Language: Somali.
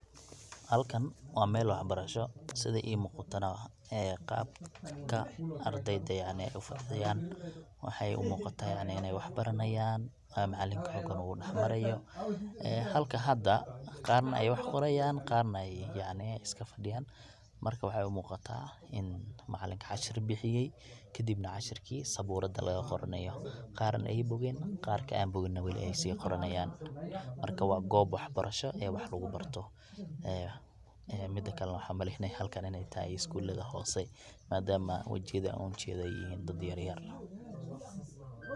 Halkan waa mel wax barasho, Sidi imuqatana qabka ardayda ay ufadiyaan waxaay umuqaata inaay wax baranayaan macanlinkana halkan u dax maraayo halka hada qaarna ay wax qoraayaan qaarna ay iska fadiyaan marka waxaay umuuqataa in macanlika cashir bixiyey kadibna cashirkii sabuurada laga qoronayo qaarna aay bogeen qarka aan bogina wali aay sii qoranaayaan marka waa goob wax barasho wax lagu barto. Mida kalana waxaan umaleynaayaa halkaan inay tahay skulada hoose madaama wajiyada aan ujeedo dad yar yar.